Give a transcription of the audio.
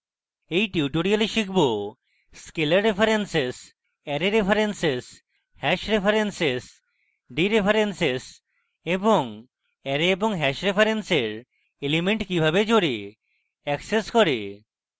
in tutorial আমরা শিখব